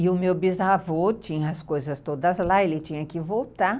E o meu bisavô tinha as coisas todas lá, ele tinha que voltar.